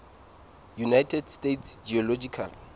united states geological